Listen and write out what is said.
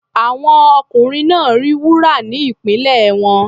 Àwọn ọkùnrin náà rí wúrà ní ìpínlẹ̀ wọn.